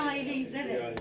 Bir ailəyik, evet.